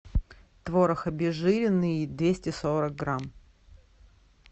творог обезжиренный двести сорок грамм